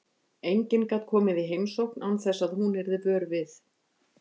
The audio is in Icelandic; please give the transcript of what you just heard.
Enginn gat komið í heimsókn án þess að hún yrði vör við.